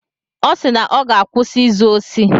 Ọ sị na ọ ga-akwụsị izu osi.